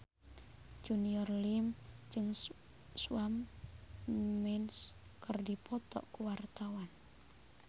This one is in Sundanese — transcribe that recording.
Junior Liem jeung Shawn Mendes keur dipoto ku wartawan